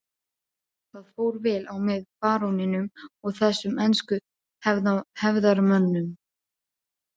Það fór vel á með baróninum og þessum ensku hefðarmönnum.